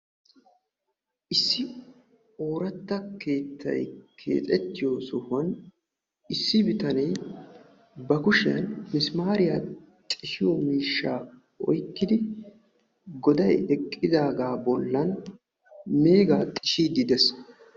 Issi ooratta keexettiyo sohoy issi bitane issi sohuwan missimariya oyqqiddi meega xishshiddi de'ees.